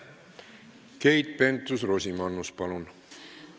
Keit Pentus-Rosimannus, palun!